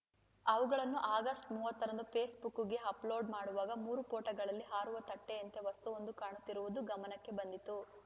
ಅವುಗಳನ್ನು ಆಗಸ್ಟ್ ಮೂವತ್ತ ರಂದು ಫೇಸ್‌ಬುಕ್‌ಗೆ ಅಪ್‌ಲೋಡ್‌ ಮಾಡುವಾಗ ಮೂರು ಫೋಟೋಗಳಲ್ಲಿ ಹಾರುವ ತಟ್ಟೆಯಂತೆ ವಸ್ತುವೊಂದು ಕಾಣುತ್ತಿರುವುದು ಗಮನಕ್ಕೆ ಬಂದಿತು